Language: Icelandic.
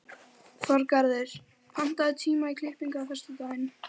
Þorgarður, pantaðu tíma í klippingu á föstudaginn.